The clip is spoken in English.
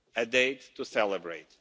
a date to celebrate.